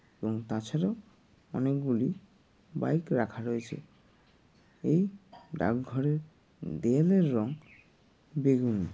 এবং তাছাড়াও অনেকগুলি বাইক রাখা রয়েছে। এই ডাকঘরের দেয়ালের রঙ বেগুনি।